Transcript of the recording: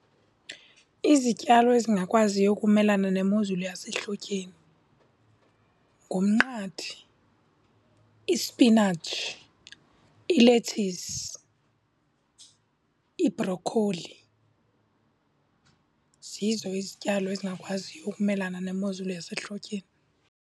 Izityalo ezingakwaziyo ukumelana nemozulu yasehlotyeni ngumnqathe, isipinatshi, ilethisi, ibhrokholi. Zizo izityalo ezingakwaziyo ukumelana nemozulu yasehlotyeni.